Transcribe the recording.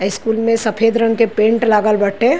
School में सफ़ेद रंग के पेंट लागल बाटे।